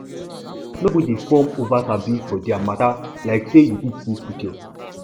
no go dey form oversabi for dia mata like say yu fit see future